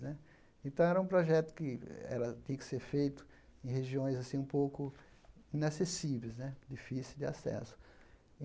Né então, era um projeto que era tinha que ser feito em regiões assim um pouco inacessíveis né, difíceis de acesso.